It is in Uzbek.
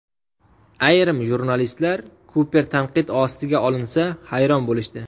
Ayrim jurnalistlar Kuper tanqid ostiga olinsa hayron bo‘lishdi.